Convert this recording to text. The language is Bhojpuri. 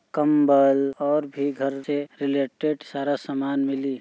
कंबल और भी घर से रिलेटेड सारा सामान मिली।